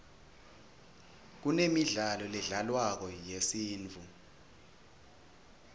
kunemidlalo ledlalwako yesintfu